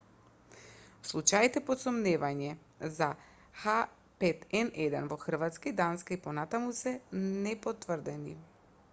случаите под сомневање за h5n1 во хрватска и данска и понатаму се непотврдени